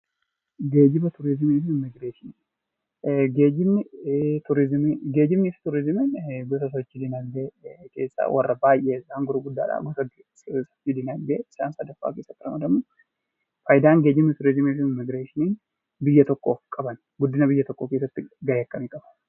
Geejiba turizimii fi immigireeshinii Geejibni fi turizimiin gosa sochii dinagdee warra baayyee isaan gurguddaa ta'ee fi dinagdee isaan keessatti ramadamuu, fayidaan geejiba, turizimii fi immigireeshinii biyya tokkoof qaban guddina biyya tokkoo keessatti gahee akkamii qabu?